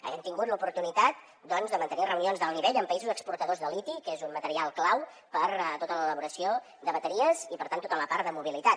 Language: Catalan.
hem tingut l’oportunitat doncs de mantenir reunions d’alt nivell amb països exportadors de liti que és un material clau per a tota l’elaboració de bateries i per tant tota la part de mobilitat